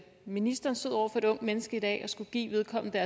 ministeren stod over for et ungt menneske i dag og skulle give vedkommende